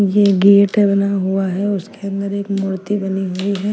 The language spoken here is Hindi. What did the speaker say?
ये गेट बना हुआ है उसके अंदर एक मूर्ति बनी हुई है।